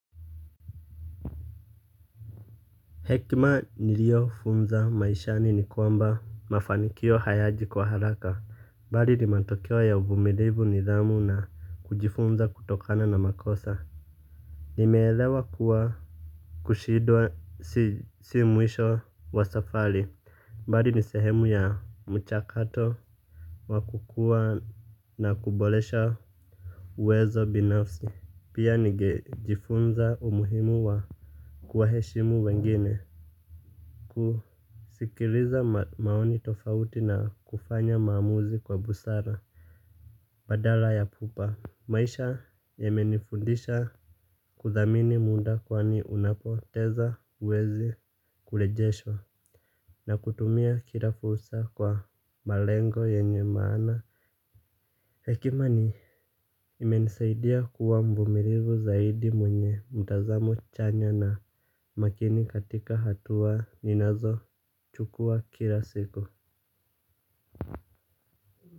Hekima niliofunza maishani ni kwamba mafanikio hayaji kwa haraka. Mbali ni matokeo ya uvumilivu nidhamu na kujifunza kutokana na makosa. Nimeelewa kuwa kushindwa si mwisho wa safari. Mbali ni sehemu ya mchakato. Wakukua na kubolesha uwezo binafsi. Pia nigejifunza umuhimu wa kuwa heshimu wengine. Kusikiliza maoni tofauti na kufanya maamuzi kwa busara badala ya pupa maisha yamenifundisha kuthamini muda kwani unapoteza uwezi kulejeshwa. Na kutumia kila fursa kwa malengo yenye maana. Hekima imenisaidia kuwa mvumilivu zaidi mwenye mtazamo chanya na makini katika hatua ninazo chukua kila siku.